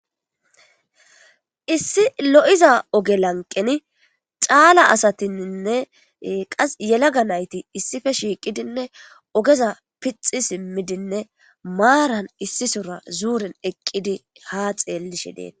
issi lo7iza oge lanqeni cala asatinne qase yelaga nayti issipe shiiqidinne ogeza pixi simmidinne maaran issisora zuuren eqqidi haa xeellishen.